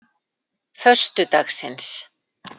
föstudagsins